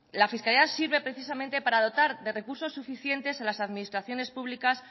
la fiscalidad sirve precisamente para dotar de recursos suficientes en las administraciones públicas